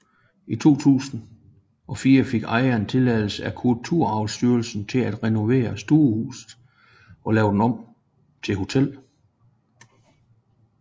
I 2004 fik ejeren tilladelse af Kulturarvsstyrelsen til at renovere stuehuset og lave det om til hotel